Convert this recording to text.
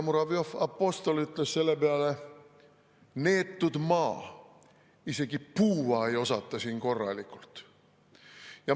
Muravjov‑Apostol ütles selle peale: "Neetud maa, isegi puua ei osata siin korralikult.